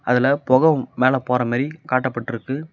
அதுல பொக மேல போரமாரி காட்டப்பட்ருக்கு.